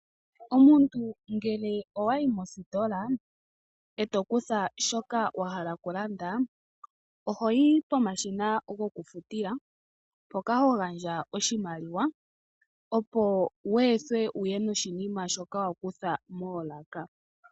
Omuntu ngele owayi mositola eto kutha shoka wahala okulanda, oho yi po mashina gokufutila, mpoka ho gandja oshimaliwa opo wu ethwe wuye noshi nima shoka wa kutha moolaka.